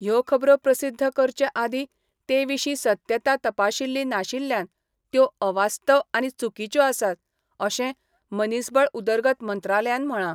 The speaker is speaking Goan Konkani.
ह्यो खबरो प्रसिध्द करचे आदी तेविशी सत्यता तपाशील्ली नाशिल्ल्यान त्यो अवास्तव आनी चुकीच्यो आसात, अशे मनिसबळ उदरगत मंत्रालयान म्हळा.